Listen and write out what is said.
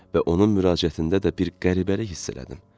Və onun müraciətində də bir qəribəlik hiss elədim.